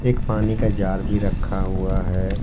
एक पानी का जार भी रखा हुआ है।